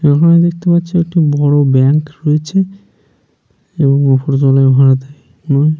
এখানে দেখতে পাচ্ছি বড় ব্যাঙ্ক রয়েছে এবং ওপর তলায় ভাড়া থাকে ।